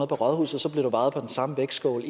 på rådhuset vejet på den samme vægtskål